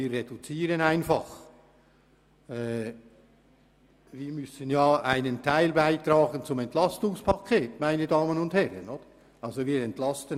Wir reduzieren einfach, denn wir müssen ja einen Teil zum EP beitragen.